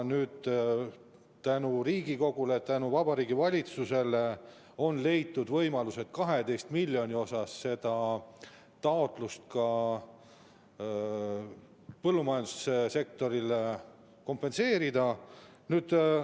Tänu Riigikogule ja Vabariigi Valitsusele on leitud võimalus 12 miljoniga seda põllumajandussektori taotlust rahuldada.